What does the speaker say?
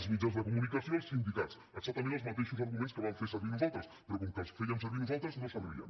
els mitjans de comunicació el sindicats exactament els mateixos arguments que vam fer servir nosaltres però com que els fèiem servir nosaltres no servien